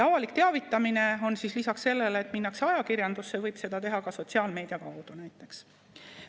Avalik teavitamine on lisaks sellele, et minnakse ajakirjandusse, ka sotsiaalmeedia kaudu teavitamine, näiteks.